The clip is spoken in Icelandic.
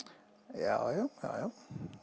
já